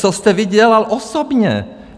Co jste vy dělal osobně?